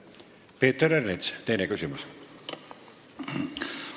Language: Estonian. Peeter Ernits, teine küsimus!